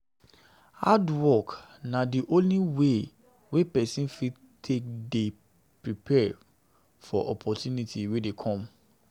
Hard work na di only way wey person fit take dey dey prepared for opportunity wey dey come